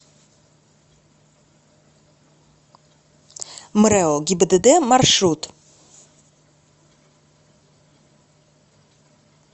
мрэо гибдд маршрут